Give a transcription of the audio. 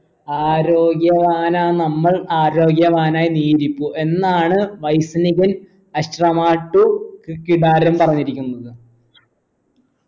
ആരോഗ്യവാനാ നമ്മൾ ആരോഗ്യവാനായി നീ ഇരിക്കൂ എന്നാണ് വൈസ്‌നികൻ അശ്രമാട്ടു ക് കിതാരം പറഞ്ഞിരിക്കുന്നത്